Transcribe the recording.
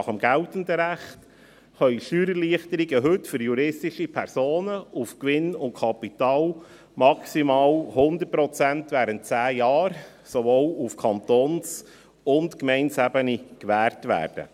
Nach dem geltenden Recht können Steuererleichterungen für juristische Personen auf Gewinn und Kapital maximal 100 Prozent während 10 Jahren, sowohl auf Kantons- als auch auf Gemeindeebene, gewährt werden.